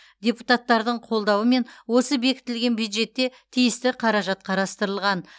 депутаттардың қолдауымен осы бекітілген бюджетте тиісті қаражат қарастырылған